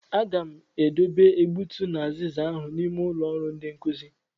Agam e dobe egbutu na aziza ahụ n'ime ụlọ ọrụ ndi nkuzi.